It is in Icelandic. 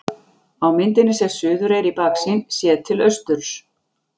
Á myndinni sést Suðureyri í baksýn, séð til austurs.